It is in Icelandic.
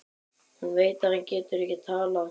Hún veit að hann getur ekki talað.